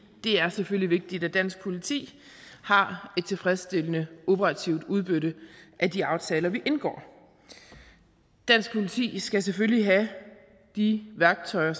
det er selvfølgelig vigtigt at dansk politi har et tilfredsstillende operativt udbytte af de aftaler vi indgår dansk politi skal selvfølgelig have de værktøjer